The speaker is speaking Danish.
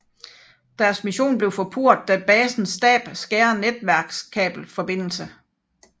Deres mission bliver forpurret da basens stab skærer netværkets kabel forbindelse